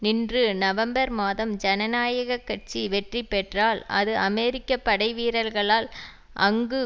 நின்று நவம்பர் மாதம் ஜனநாயக கட்சி வெற்றி பெற்றால் அது அமெரிக்க படைவீரர்களால் அங்கு